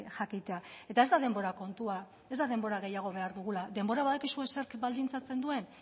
jakitea eta ez da denbora kontua ez da denbora gehiago behar dugula denborak badakizue zerk baldintzatzen duen